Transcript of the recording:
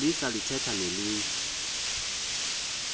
polisa lithetha nelinye